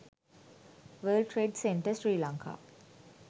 world trade center sri lanka